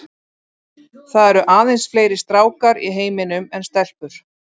Það eru aðeins fleiri stákar í heiminum en stelpur.